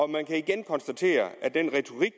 man kan igen konstatere at den retorik